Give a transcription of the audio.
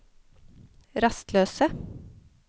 rastløse